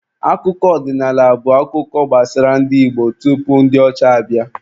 Akụkọ ọdịnaala bụ akụkọ gbasara ndị Igbo tupu ndi ọcha abịa.